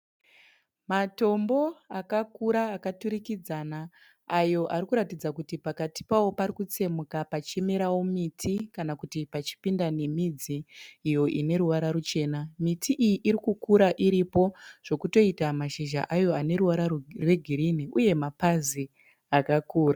Matombo akakura akaturikidzana, ayo arikuratidza kuti pakati payo parikutsemuka pachimera miti kana kuti pachipinda nemidzi iyo uneruvara rwuchena. Miti iyi irikukura iripo zvekutoita mashizha ayo aneruvara rwegirinhi uye mapazi akakukura